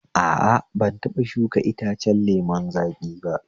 A a, ban taɓa shuka itacen lemun zaƙi ba